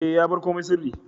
E, ya bar komai sirri.